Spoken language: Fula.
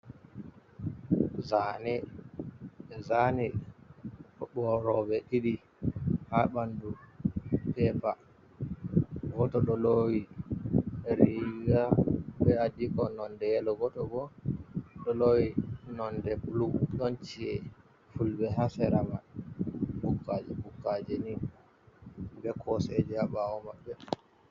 Zane, ɓe zani fuloroɓe ɗiɗi ha bandu pepa, goto ɗolowi riga be’adiko nonde yelo, goto ɗolowi nonde bulu, ɗon ci'e fulɓe hasera mai bukkaji-bukkaji ni be koseje ha bawo maɓɓe.